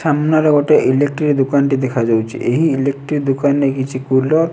ସାମ୍ନାରେ ଗୋଟେ ଇଲେକ୍ଟ୍ରି ଦୁକାନ୍ ଟେ ଦେଖାଯାଉଛି ଏହି ଇଲେକ୍ଟ୍ରି ଦୁକାନ୍ ରେ କିଛି କୁଲର୍ ।